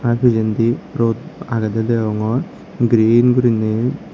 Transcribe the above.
aa pijendi rod agedey degongor green guriney.